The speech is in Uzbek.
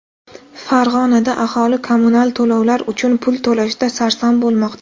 Farg‘onada aholi kommunal to‘lovlar uchun pul to‘lashda sarson bo‘lmoqda.